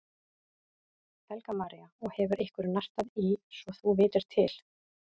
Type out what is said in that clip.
Helga María: Og hefur einhver nartað í svo þú vitir til?